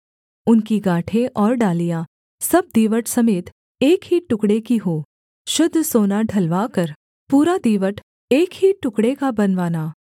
उनकी गाँठें और डालियाँ सब दीवट समेत एक ही टुकड़े की हों शुद्ध सोना ढलवा कर पूरा दीवट एक ही टुकड़े का बनवाना